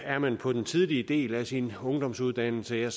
er man på den tidlige del af sin ungdomsuddannelse